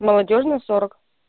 молодёжная сорок